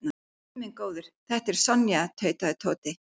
Guð minn góður, þetta er Sonja tautaði Tóti.